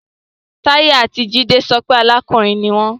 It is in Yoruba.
Tayo ati Jide sọ pe arakunrin ni wọn